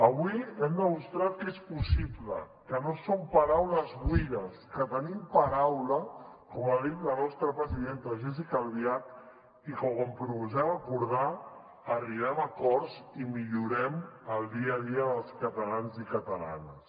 avui hem demostrat que és possible que no són paraules buides que tenim paraula com ha dit la nostra presidenta jéssica albiach i que quan proposem acordar arribem a acords i millorem el dia a dia dels catalans i catalanes